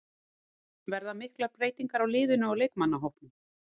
Verða miklar breytingar á liðinu og leikmannahópnum?